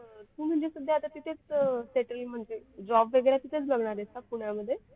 तू म्हणजे सध्या आता तिथेच settle म्हणजे job वगैरे तिथेच बघणार आहेस का पुण्यामध्ये